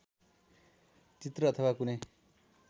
चित्र अथवा कुनै